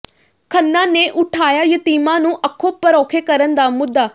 ਖੰਨਾ ਨੇ ਉਠਾਇਆ ਯਤੀਮਾਂ ਨੂੰ ਅੱਖੋਂ ਪਰੋਖੇ ਕਰਨ ਦਾ ਮੁੱਦਾ